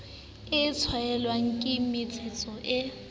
e tswalwang ke metsetso e